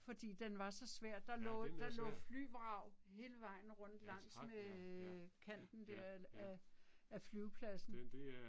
Fordi den var så svær der lå der lå flyvrag hele vejen rundt langs med æh kanten der af af flyvepladsen